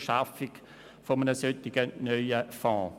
Schaffung eines solchen neuen Fonds gegenüber eher kritisch eingestellt ist.